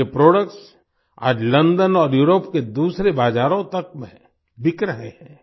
उनके प्रोडक्ट्स आज लंदन और यूरोप के दूसरे बाज़ारों तक में बिक रहे हैं